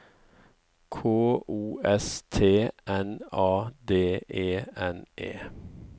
K O S T N A D E N E